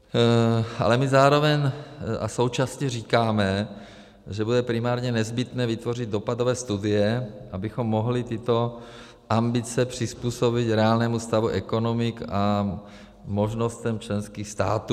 Ale my zároveň a současně říkáme, že bude primárně nezbytné vytvořit dopadové studie, abychom mohli tyto ambice přizpůsobit reálnému stavu ekonomik a možnostem členských států.